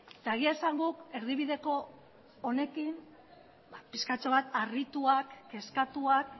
eta egia esan guk erdibideko honekin pixkatxo bat harrituak kezkatuak